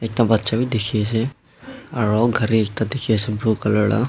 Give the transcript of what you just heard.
ekta bacha bi dekhi ase aro gari ekta dekhi ase la.